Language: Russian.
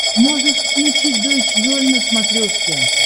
можешь включить дойч вель на смотрешке